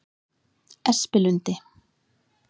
Espilundi